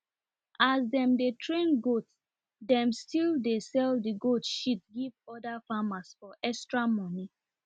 as them dey train goats dem still dey sell the goat shit give oda farmers for extra money